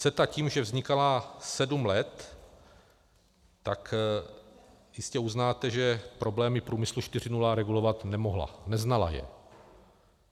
CETA tím, že vznikala sedm let, tak jistě uznáte, že problémy Průmyslu 4.0 regulovat nemohla, neznala je.